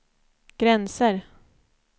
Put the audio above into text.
gränser